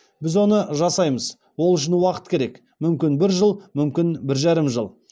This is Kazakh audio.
біз оны жасаймыз ол үшін уақыт керек мүмкін бір жыл мүмкін бір жарым жыл